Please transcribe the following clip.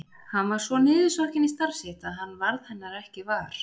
Hann var svo niðursokkinn í starf sitt að hann varð hennar ekki var.